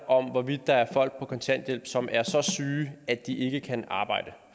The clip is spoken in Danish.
om hvorvidt der er folk på kontanthjælp som er så syge at de ikke kan arbejde